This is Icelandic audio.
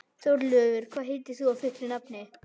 Þórleifur, hvað heitir þú fullu nafni?